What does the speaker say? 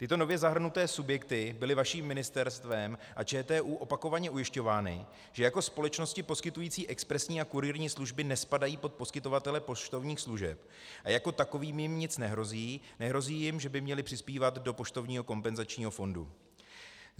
Tyto nově zahrnuté subjekty byly vaším ministerstvem a ČTÚ opakovaně ujišťovány, že jako společnosti poskytující expresní a kurýrní služby nespadají pod poskytovatele poštovních služeb a jako takovým jim nic nehrozí, nehrozí jim, že by měly přispívat do poštovního kompenzačního fondu.